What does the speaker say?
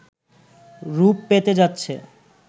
রুপ পেতে যাচ্ছে